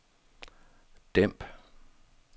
dæmp